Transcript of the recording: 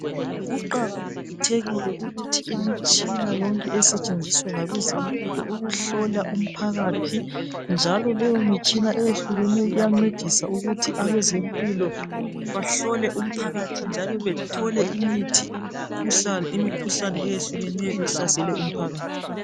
Kuqakathekile ukuthi imitshina yonke esetshenziswa ngabezempilo ukuhlola umphakathi njalo leyo mitshina eyehlukeneyo iyancedisa ukuthi abezempilo bahlole umphakathi njalo bethole imikhuhlane eyehlukeneyo ehlasele umphakathi.